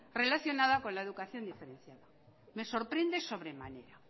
relacionada con la educación diferenciada me sorprende sobremanera